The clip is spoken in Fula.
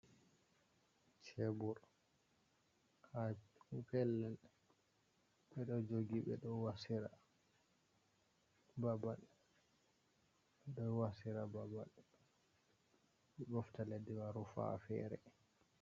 Chebur hapellel ,be do jogi ha babalbe do wasira babal be bofta leddi mai berufa fere.